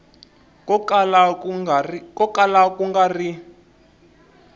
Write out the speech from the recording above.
ko kala ku nga ri